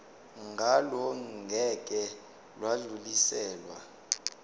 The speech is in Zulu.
ngalo ngeke lwadluliselwa